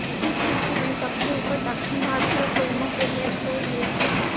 इस सूची में सबसे ऊपर दक्षिण भारतीय फिल्मों के हैशटैग हैं